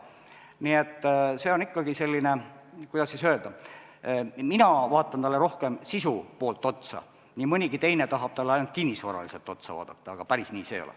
Nii et ikkagi, kuidas öelda, mina vaatan rohkem sisu poolt, nii mõnigi teine tahab vaadata ainult kinnisvaraliselt, aga päris nii see ei ole.